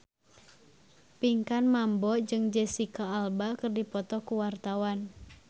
Pinkan Mambo jeung Jesicca Alba keur dipoto ku wartawan